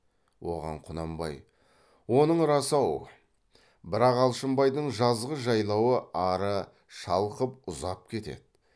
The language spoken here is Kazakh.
оған құнанбай оның рас ау бірақ алшынбайдың жазғы жайлауы ары шалқып ұзап кетеді